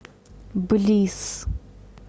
блисс